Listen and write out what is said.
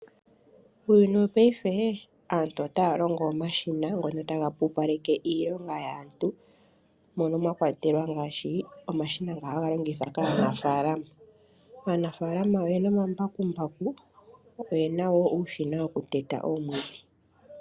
Uuyuni wopaife aantu otaya longo omashina ngono ta pupaleke iilonga yaantu mono mwa kwatelwa ngaashi omashina nga haga longithwa kaanafaalama. Aanafalama oyena omambakumbaku yo oyena wo uushina woku teta omwiidhi.